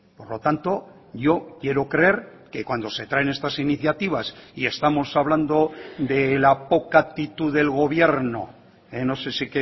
por lo tanto yo quiero creer que cuando se traen estas iniciativas y estamos hablando de la poca actitud del gobierno no sé si